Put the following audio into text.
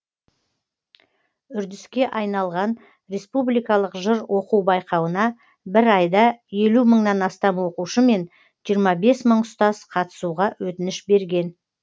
үрдіске айналған республикалық жыр оқу байқауына бір айда елу мыңнан астам оқушы мен жиырма бес мың ұстаз қатысуға өтініш берген